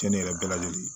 Cɛnni yɛrɛ bɛɛ lajɛlen